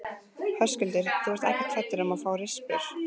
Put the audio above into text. Höskuldur: Þú ert ekkert hræddur um að fá rispur?